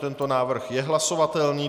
Tento návrh je hlasovatelný.